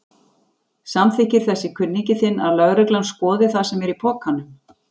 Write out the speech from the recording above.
Samþykkir þessi kunningi þinn að lögreglan skoði það sem er í pokanum?